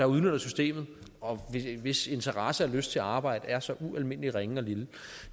udnytter systemet og hvis interesse for og lyst til at arbejde er så ualmindelig ringe og lille